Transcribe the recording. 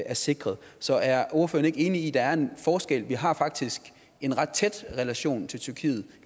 er sikret så er ordføreren ikke enig i at der er en forskel vi har faktisk en ret tæt relation til tyrkiet